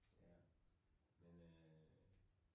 Ja. Men øh